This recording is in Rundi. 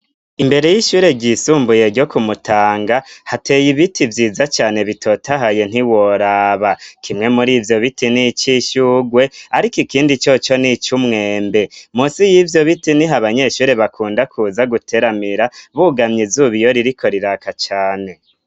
Imbere y'ishure ryisumbuye ryo kumutanga hateye ibiti vyiza cane bitotahaye ntiworaba kimwe muri ivyo biti n' ico ishyugwe, ariko ikindi co co ni icoumwembe musi y'ivyo biti ni ho banyeshure bakunda kuza guteramira bugamye izuba iyo ririko riraka cane.